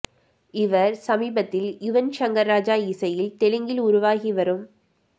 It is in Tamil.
இவர் சமீபத்தில் யுவன் ஷங்கர் ராஜா இசையில் தெலுங்கில் உருவாகி வரும்